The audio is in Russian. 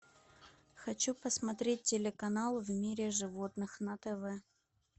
хочу посмотреть телеканал в мире животных на тв